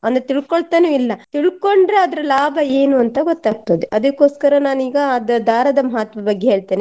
ಒಂದು ತಿಳ್ಕೊಳ್ತಾನು ಇಲ್ಲ ತಿಳ್ಕೊಂಡ್ರೆ ಅದ್ರ ಲಾಭ ಏನು ಅಂತ ಗೊತ್ತಾಗ್ತದೆ ಅದಕೋಸ್ಕರ ನಾನೀಗ ಆ ದಾ~ ದಾರದ ಮಹತ್ವ ಬಗ್ಗೆ ಹೇಳ್ತೇನೆ.